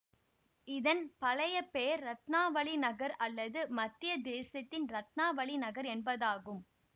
இதன் பழைய பெயர் ரத்னாவளி நகர் அல்லது மத்யதேசத்தின் ரத்னாவளி நகர் என்பதாகும்